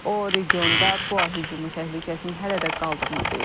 O, regionda PUA hücumu təhlükəsinin hələ də qaldığını deyib.